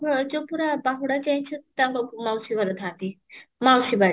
ଯୋଉ ପୁରା ବାହୁଡା ଯାଏଁ ତାଙ୍କ ମାଉସୀ ଘରେ ଥାନ୍ତି, ମାଉସୀ